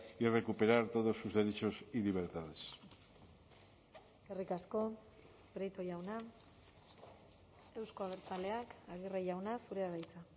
y recuperar todos sus derechos y libertades eskerrik asko prieto jauna euzko abertzaleak aguirre jauna zurea da hitza